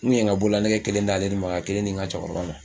Ne ye n ka bololanɛgɛ kelen d'ale de ma ka kelen di n ka cɛkɔrɔba ma